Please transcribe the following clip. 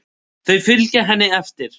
Þau fylgja henni eftir.